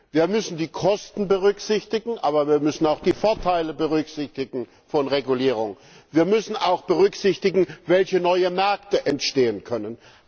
Wir müssen die Kosten berücksichtigen, aber wir müssen auch die Vorteile von Regulierung berücksichtigen. Wir müssen auch berücksichtigen, welche neuen Märkte entstehen können.